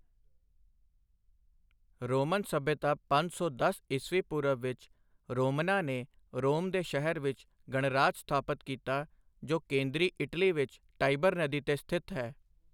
Roman ਸੱਭਿਅਤਾ ਪੰਜ ਸੌ ਦਸ ਈ.ਪੂ. ਵਿੱਚ ਰੋਮਨਾਂ ਨੇ ਰੋਮ ਦੇ ਸ਼ਹਿਰ ਵਿੱਚ ਗਣਰਾਜ ਸਥਾਪਤ ਕੀਤਾ ਜੋ ਕੇਂਦਰੀ ਇਟਲੀ ਵਿੱਚ ਟਾਈਬਰ ਨਦੀ ਤੇ ਸਥਿਤ ਹੈ।